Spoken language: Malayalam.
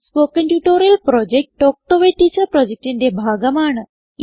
spoken tutorial project talk to a teacher പ്രൊജക്റ്റിന്റെ ഭാഗമാണ്